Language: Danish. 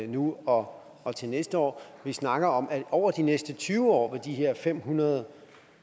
nu og og til næste år vi snakker om at over de næste tyve år vil de her fem hundrede